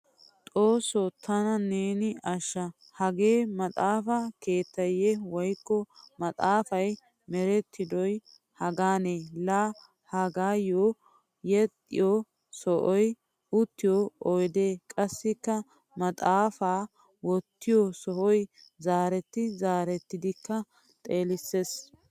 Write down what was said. Xoosso tana neeni ashsha hagee maxaafa keetteeyye woykko maxaafay merettidoy hagaane. Laa hagaayo yexxiyo sa'ay, uttiyo oydee qassikka maxaafaa wottiyo sohoy zaaretti zaarettidikka xeelissees.